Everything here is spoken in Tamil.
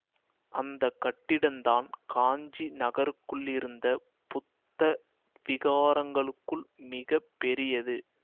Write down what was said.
அந்த கட்டிடந்தான் காஞ்சி நகருக்குள்ளிருந்த புத்த விஹாரங்களுக்குள் மிக பெரியது